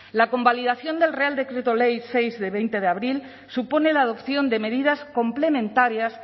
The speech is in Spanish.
la convalidación del real decreto ley seis de veinte de abril supone la adopción de medidas complementarias